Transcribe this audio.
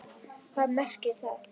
Hvað merkir það?!